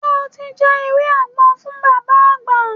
Ṣé o ti já ewé àgbo fún Bàbá Àgbà?